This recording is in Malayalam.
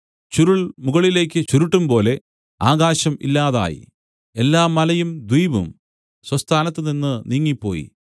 ചുരുൾ മുകളിലേക്കു ചുരുട്ടുംപോലെ ആകാശം ഇല്ലാതായി എല്ലാ മലയും ദ്വീപും സ്വസ്ഥാനത്തുനിന്ന് നീങ്ങിപ്പോയി